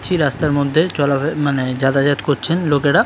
ছি রাস্তার মধ্যে চলাফেরা মানে যাতায়াত করছেন লোকেরা।